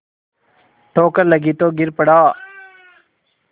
ठोकर लगी तो गिर पड़ा